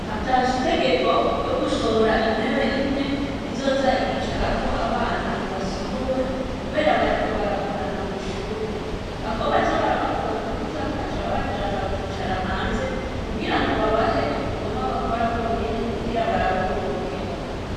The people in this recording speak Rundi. Hatanzwe itegeko ryo gusohora intebe imwe izoza iricarako abana basohohwe, kubera bariko baragorana mw'ishuri. Hako baza barabakura amanota, baca babajana bakicara hanze, kugira babahe ibikorwa bakora bo nyene kugira barabe ko bobiheba.